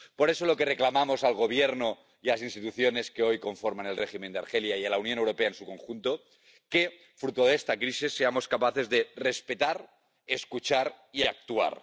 Por eso, lo que reclamamos al Gobierno y a las instituciones que hoy conforman el régimen de Argelia, y a la Unión Europea en su conjunto, es que, fruto de esta crisis, seamos capaces de respetar, escuchar y actuar.